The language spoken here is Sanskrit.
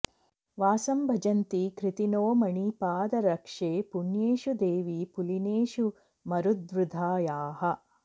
वासं भजन्ति कृतिनो मणिपादरक्षे पुण्येषु देवि पुलिनेषु मरुद्वृधायाः